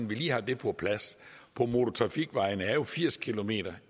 vi lige har det på plads på motortrafikvejene er jo firs kilometer